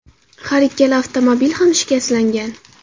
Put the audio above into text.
Har ikkala avtomobil ham shikastlangan.